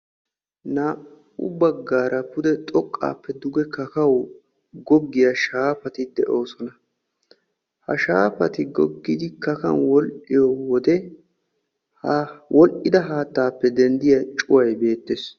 Naa"u baggaara pudde xoqqappe dugge kakkawu goggiya shaafati de'oosona, ha shaafatti goggidi kakkawu wodhdhiyo wode wodhdhida haattaappe kiyiyaa cuway beettees.